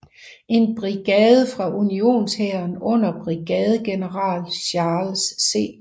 En brigade fra unionshæren under brigadegeneral Charles C